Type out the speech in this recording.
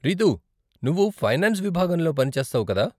రితూ, నువ్వు ఫైనాన్స్ విభాగంలో పని చేస్తావు కదా?